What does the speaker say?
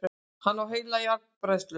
Hann á heila járnbræðslu!